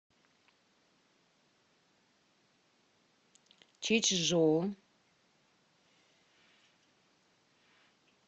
чичжоу